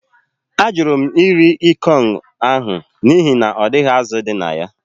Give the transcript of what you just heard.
Ajụrụ m iri ikong ahụ n’ihi na ọ dịghị azụ̀ dị na ya